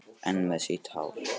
Enn með sítt hár.